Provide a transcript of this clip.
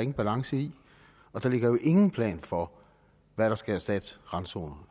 ingen balance i og der ligger jo ingen plan for hvad der skal erstatte randzonerne